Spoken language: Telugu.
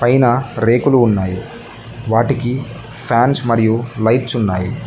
పైనా రేకులు ఉన్నాయి వాటికి ఫాన్స్ మరియు లైట్స్ ఉన్నాయి.